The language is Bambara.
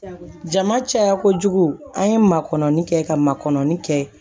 Jama caya kojugu an ye makɔni kɛ ka makɔnɔ kɛ